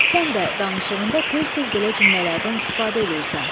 Sən də danışığında tez-tez belə cümlələrdən istifadə eləyirsən.